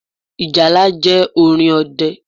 Ìjálá jẹ́ orin ọdẹ